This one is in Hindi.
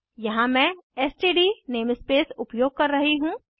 यहाँ मैं एसटीडी नेमस्पेस उपयोग कर रही हूँ